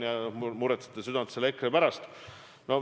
Te valutate südant EKRE pärast.